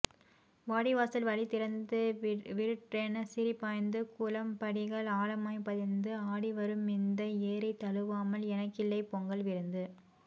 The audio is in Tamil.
வாடிவாசல் வழி திறந்து விருட்டென சீறிப்பாய்ந்து குளம்படிகள் ஆழமாய் பதிந்து ஆடிவருமிந்த ஏறை தழுவாமல் எனக்கில்லை பொங்கல் விருந்து